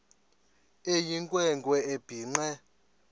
eyinkwe nkwe ebhinqe